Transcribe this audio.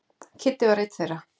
Kiddi var einn þeirra.